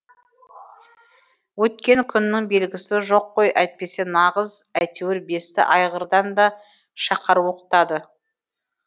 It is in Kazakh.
өткен күннің белгісі жоқ қой әйтпесе нағыз әйтеуір бесті айғырдан да шақар оқытады